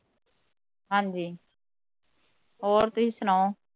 ਹਾਂਜੀ ਹੋਰ ਤੁਹੀ ਸੁਣਾਉ